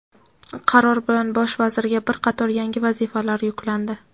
Qaror bilan Bosh vazirga bir qator yangi vazifalar yuklandi.